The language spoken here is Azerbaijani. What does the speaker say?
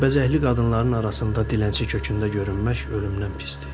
Bərbəzəkli qadınların arasında dilənçi kökündə görünmək ölümdən pisdir.